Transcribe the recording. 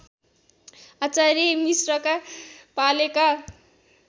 आचार्य मिश्रका पालेका